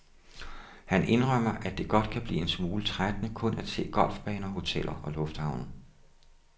Han indrømmer, at det godt kan blive en smule trættende kun at se golfbaner, hoteller og lufthavne.